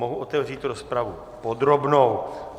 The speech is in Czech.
Mohu otevřít rozpravu podrobnou.